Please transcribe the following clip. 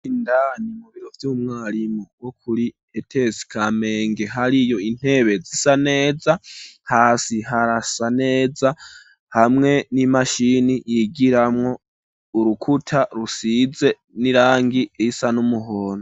Indani mu biro vy'umwarimu wo kuri etesi kamenge hari iyo intebe zisa neza, hasi harasa neza hamwe n'imashini yigiramwo, urukuta rusize n'irangi risa n'umuhondo.